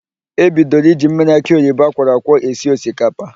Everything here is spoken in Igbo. E bidoro iji mmiri akị oyibo akwọrọ akwọ esi osikapa.